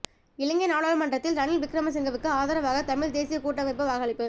இலங்கை நாடாளுமன்றத்தில் ரணில் விக்ரமசிங்கவுக்கு ஆதரவாக தமிழ் தேசிய கூட்டமைப்பு வாக்களிப்பு